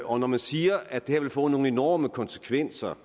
og når man siger at det her vil få nogle enorme konsekvenser